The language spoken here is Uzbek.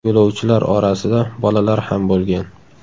Yo‘lovchilar orasida bolalar ham bo‘lgan.